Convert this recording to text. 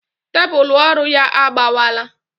Tébulu ọrụ ya agbawala